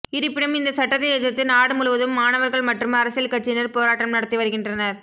இருப்பினும் இந்த சட்டத்தை எதிர்த்து நாடு முழுவதும் மாணவர்கள் மற்றும் அரசியல் கட்சியினர் போராட்டம் நடத்தி வருகின்றனர்